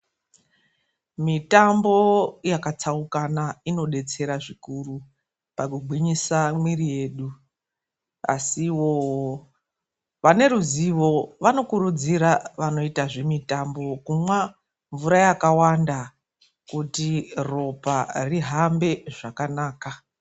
Mitambo yakatsaukana inodetsera zvikuru pakugwinyisa mwiri yedu. Asiwo ,vane ruzivo vanokurudzira vanoita zvemitambo kumwa mvura yakawanda, kuti ropa rihambe zvakanaka.